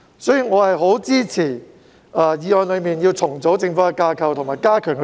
所以，我十分支持議案提到要重組政府架構，以及加強協調。